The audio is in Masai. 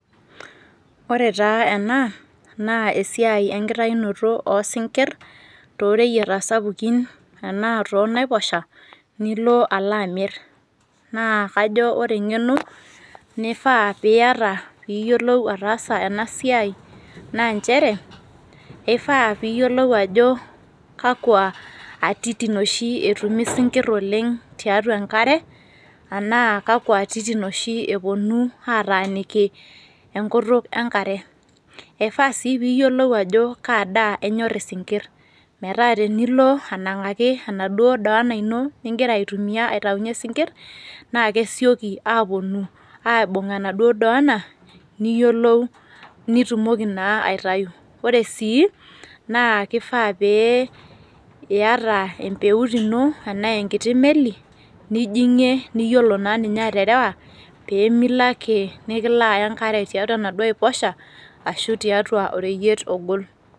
Ore taa ena, naa esiai enkitayunoto osinkir toreyieta sapukin, enaa tonaiposha, nilo alo amir. Naa kajo ore eng'eno nifaa piyata piyiolou ataasa enasiai, naa njere, ifaa piyiolou ajo kakwa atitin oshi etumi isinkirr oleng tiatua enkare, anaa kakwa atitin oshi eponu ataaniki enkutuk enkare. Ifaa si piyiolou ajo kadaa enyor isinkirr. Metaa tenilo anang'aki enaduo doona ino nigira aitumia aitaunye sinkirr, na kesioki aponu aibung enaduo doona, niyiolou nitumoki naa aitayu. Ore sii, naa kifaa pee iyata empeut ino enaa enkiti meli nijing'ie niyiolo naa ninye aterewa, pemilo ake nikilo aya enkare tiatua enaduo aiposha, ashu tiatua oreyiet ogol.